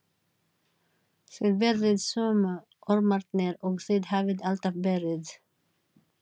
Þið verðið sömu ormarnir og þið hafið alltaf verið.